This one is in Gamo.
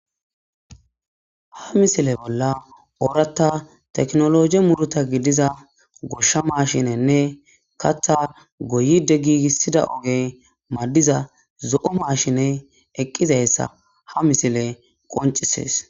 ha misile bolla ooratta teknologi muruta gidiza goshsha mashinenne katha goyide giigissida oge maddiza zo7o maashine eqqizayssa ha misile qoncisees